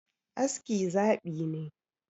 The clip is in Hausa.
Aski zaɓi ne